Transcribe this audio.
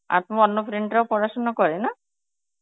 আর তোমার অন্য friend রাও পড়াশোনা করে না?